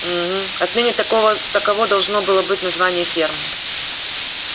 угу отныне такого таково должно было быть название фермы